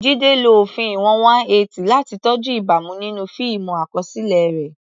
Jide lo òfin ìwọ̀n 180 láti tọ́jú ìbámu nínú fíìmù àkọsílẹ̀ rẹ̀.